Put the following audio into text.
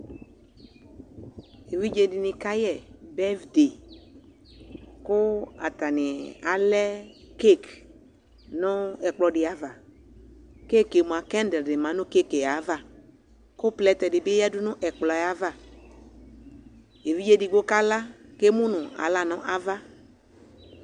Evidze dɩnɩ kayɛ bɛsde, kʋ atanɩ alɛ kek nʋ ɛkplɔ dɩ ava, kek yɛ mʋa, kɛd dɩ ma nʋ kek yɛ ava, kʋ plɛtɛ dɩ bɩ yedʋ nʋ ɛkplɔ yɛ ava, evidze edigbo kala kʋ emu nʋ aɣla nʋ ava